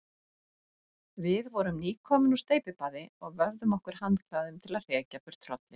Við vorum nýkomin úr steypibaði og vöfðum okkur handklæðum til að hrekja burt hrollinn.